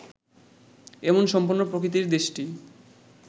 এমন সম্পন্ন প্রকৃতির দেশটি